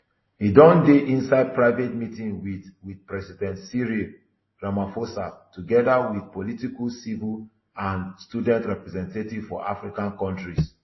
e don dey inside private meeting wit wit president cyril ramaphosa togeda wit political civil and student representatives for african kontris